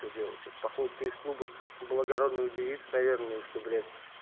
что делать походу ты из клуба благородных девиц наверное что блять